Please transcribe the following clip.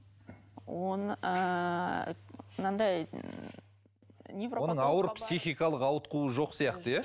оны ыыы мынандай оны ауыр психикалық ауытқуы жоқ сияқты иә